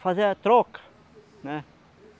fazia troca, né?